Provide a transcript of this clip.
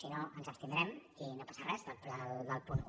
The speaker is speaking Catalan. si no ens abstindrem i no passa res del punt un